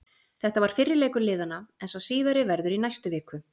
Þetta var fyrri leikur liðanna en sá síðari verður í næstu viku.